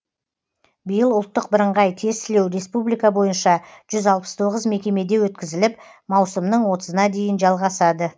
биыл ұлттық бірыңғай тестілеу республика бойынша жүз алпыс тоғыз мекемеде өткізіліп маусымның отызына дейін жалғасады